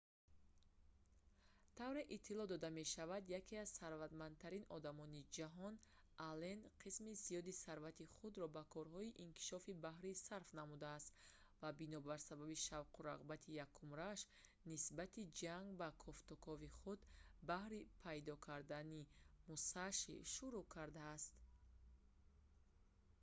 тавре иттилоъ дода мешавад яке аз сарватмандтарин одамони ҷаҳон аллен қисми зиёди сарвати худро ба корҳои иктишофии баҳрӣ сарф намудааст ва бинобар сабаби шавқу рағбати якумрияш нисбати ҷанг ба кофтукови худ баҳри пайдо кардани мусаши шурӯъ кардааст